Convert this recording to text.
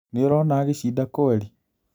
Nĩ ũrona agĩcinda kweri?